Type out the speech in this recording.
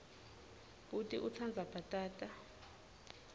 bhuti utsandza bhatata